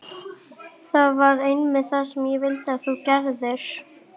Það var einmitt það sem ég vildi að þú gerðir.